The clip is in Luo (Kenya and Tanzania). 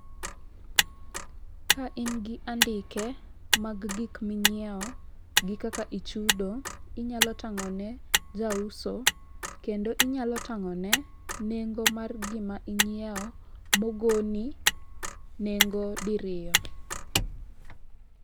Ka in gi andike mag gik ming'iewo gi kaka ichudo, inyalo tang'o ne jauso kendo inyalo tang'o ne nengo mar gima inyiewo mogoni nengo diriyo.